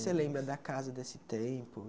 Você lembra da casa desse tempo?